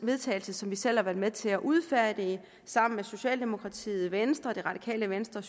vedtagelse som vi selv har været med til at udfærdige sammen med socialdemokratiet venstre det radikale venstre